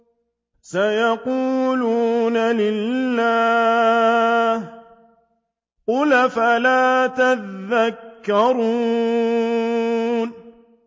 سَيَقُولُونَ لِلَّهِ ۚ قُلْ أَفَلَا تَذَكَّرُونَ